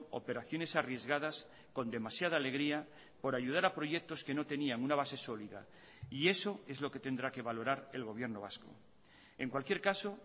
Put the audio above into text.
operaciones arriesgadas con demasiada alegría por ayudar a proyectos que no tenían una base sólida y eso es lo que tendrá que valorar el gobierno vasco en cualquier caso